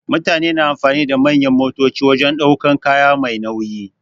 Mutane na amfani da manyan motoci wajen ɗaukan kaya Mai nauyi.